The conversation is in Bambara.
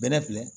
Bɛlɛ filɛ